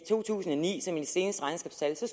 to tusind og ni som er de seneste regnskabstal jo så